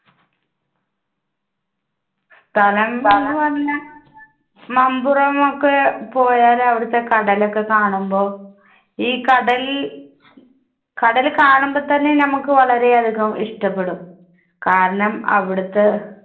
സ്ഥലം എന്ന് പറഞ്ഞാൽ മമ്പുറം ഒക്കെ പോയാൽ അവിടുത്തെ കടൽ ഒക്കെ കാണുമ്പോൾ, ഈ കടൽ, കടല് കാണുമ്പോൾ തന്നെ നമുക്ക് വളരെ അധികം ഇഷ്ടപ്പെടും, കാരണം അവിടുത്തെ